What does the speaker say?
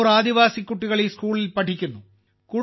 300 ആദിവാസി കുട്ടികൾ ഈ സ്കൂളിൽ പഠിക്കുന്നു